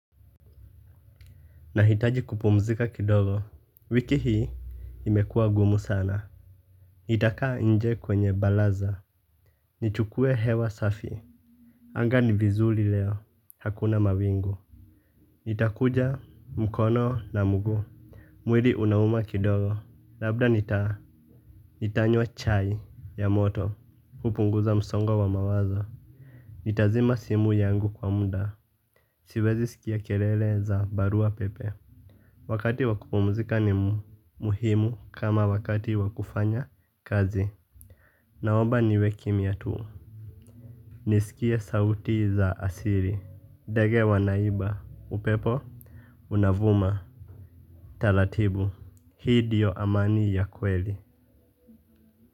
Nahitaji kupumzika kidogo, wiki hii imekua ngumu sana. Itakaa nje kwenye balaza, nichukue hewa safi. Anga ni vizuri leo, hakuna mawingu. Nitakuja mkono na mguu. Mwili unauma kidogo, labda nitaa. Nitanywa chai ya moto, kupunguza msongo wa wa mawazo. Nitazima simu yangu kwa muda, siwezi sikia kelele za barua pepe. Wakati wa kupumzika ni muhimu kama wakati wa kufanya kazi. Naomba niwe kimya tuu. Nisikie sauti za asili. Ndege wanaimba. Upepo. Unavuma. Talatibu. Hii ndiyo amani ya kweli.